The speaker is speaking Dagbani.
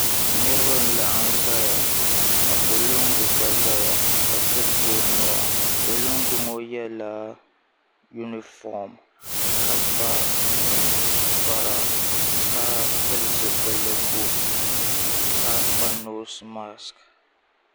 Niriba n laɣim zaya ka polinga gba zaya ka tiri ti o nuu polinga ŋɔ yɛla yunifɔm ka kpa ninkpara ka pili zipiligu ka kpa noosi maks.